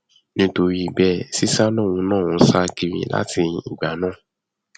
nítorí bẹẹ sìṣà lòun náà ń sá kiri látìgbà náà